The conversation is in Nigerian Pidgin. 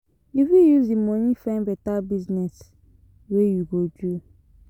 You fit use di moni find beta business wey you go do.